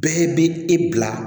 Bɛɛ bɛ e bila